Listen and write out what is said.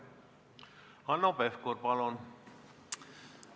Hanno Pevkur, palun!